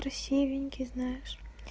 красивенькие знаешь